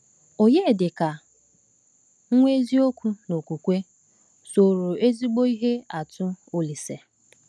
Onyedika, “nwa eziokwu n’okwukwe,” soro ezigbo ihe atụ Olísè.